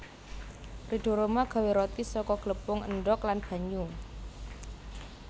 Ridho Rhoma gawe roti saka glepung endhog lan banyu